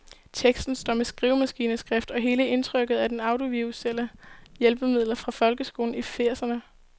Teksten står med skrivemaskineskrift, og hele indtrykket er af audiovisuelle hjælpemidler fra folkeskolen i firserne.